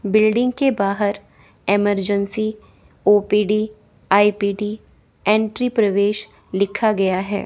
Building के बाहर emergency OPD IPD entry प्रवेश लिखा गया हैं।